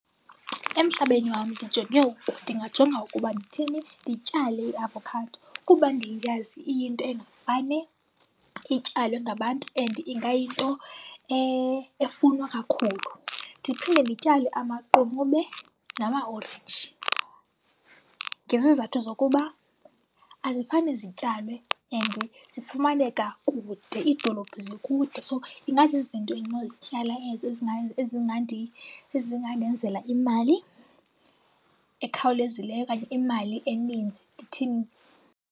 Emhlabeni wam ndijonge ndingajonga ukuba ndithini? Ndityale iavokhado kuba ndiyazi iyinto engafane ityalwe ngabantu and ingayinto efunwa kakhulu. Ndiphinde ndityale amaqunube namaorenji ngezizathu zokuba azifane zityalwe and zifumaneka kude. Iidolophu zikude. So, ingazizinto endinozityala ezo ezingandenzela imali ekhawulezileyo okanye imali eninzi ndithini.